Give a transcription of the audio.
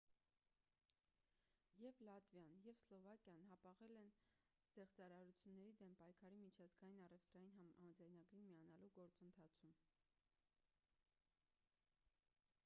եվ լատվիան և սլովակիան հապաղել են զեղծարարությունների դեմ պայքարի միջազգային առևտրային համաձայնագրին միանալու գործընթացում